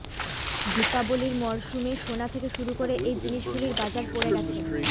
দীপাবলির মরশুমে সোনা থেকে শুরু করে এই জিনিসগুলির বাজার পড়ে গেছে